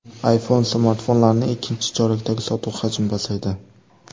iPhone smartfonlarining ikkinchi chorakdagi sotuvi hajmi pasaydi.